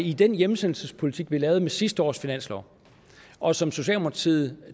i den hjemsendelsespolitik vi lavede med sidste års finanslov og som socialdemokratiet